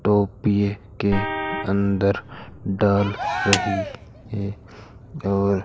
टोपिये के अंदर डाल रही है और--